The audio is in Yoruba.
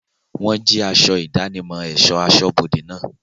Wọ́n jí aṣọ ìdánimọ̀ ẹ̀sọ́ aṣọ́bodẹ̀ náà.